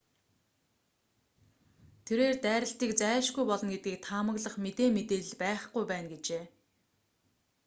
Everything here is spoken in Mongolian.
тэрээр дайралтыг зайлшгүй болно гэдгийг таамаглах мэдээ мэдээлэл байхгүй байна гэжээ